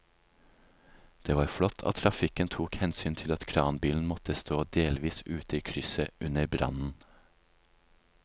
Det var flott at trafikken tok hensyn til at kranbilen måtte stå delvis ute i krysset under brannen.